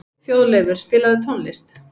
Þjóðleifur, spilaðu tónlist.